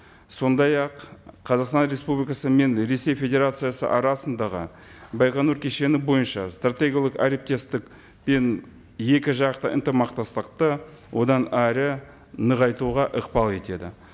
сондай ақ қазақстан республикасы мен ресей федерациясы арасындағы байқоңыр кешені бойынша стратегиялық әріптестік пен екі жақты ынтымақтастықты одан әрі нығайтуға ықпал етеді